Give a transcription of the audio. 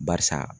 Barisa